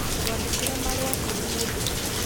Twandĩkĩre marũa kũrĩ mũndũ ũngĩ.